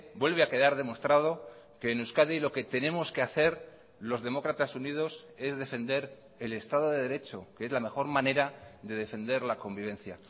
vuelve a quedar demostrado que en euskadi lo que tenemos que hacer los demócratas unidos es defender el estado de derecho que es la mejor manera de defender la convivencia